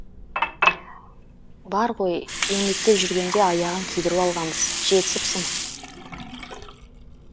бар ғой еңбектеп жүргенде аяғын күйдіріп алғанбыз жетісіпсің